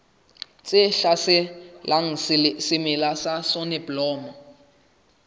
tse hlaselang semela sa soneblomo